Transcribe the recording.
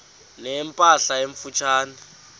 ne mpahla emfutshane